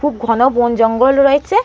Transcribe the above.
খুব ঘন বোন জঙ্গল রয়েছে।